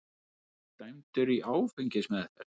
Dæmdur í áfengismeðferð